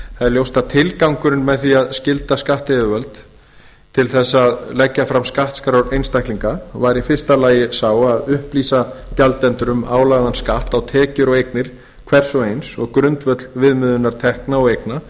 það er ljóst að tilgangurinn með því að skylda skattyfirvöld til að leggja fram skattskrár einstaklinga var í fyrsta lagi sá að upplýsa gjaldendur um álagðan skatt á tekjur og eignir hvers og eins og grundvöll viðmiðunar tekna og eigna